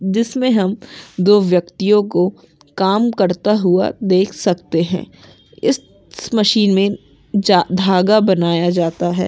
जिसमें हम दो व्यक्तियों को काम करता हुआ देख सकते हैं इस मशीन में धागा बनाया जाता है।